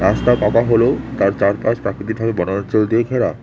রাস্তা পাকা হলেও তার চারপাশ প্রাকৃতিকভাবে বনাঞ্চল দিয়ে ঘেরা।